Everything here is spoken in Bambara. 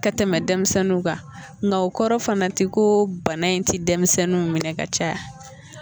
Ka tɛmɛ denmisɛnninw kan mɛ o kɔrɔ fana tɛ ko bana in tɛ denmisɛnninw minɛ ka caya